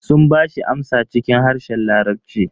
Sun bashi amsa cikin harshen larabci.